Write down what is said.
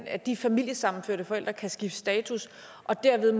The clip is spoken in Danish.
at de familiesammenførte forældre kan skifte status og dermed